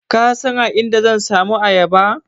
Ka san a inda zan samu ayaba?